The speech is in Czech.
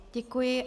Děkuji.